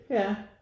Ja